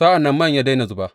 Sa’an nan man ya daina zuba.